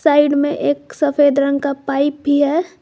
Side में एक सफेद रंग का पाइप भी है।